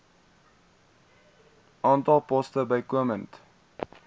aantal poste bykomend